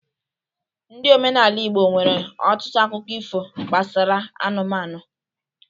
Ndị omenala igbo nwere ọtụtụ akụkọ ifo gbasara anụmanụ